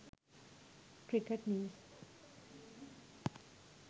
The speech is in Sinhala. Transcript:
cricket news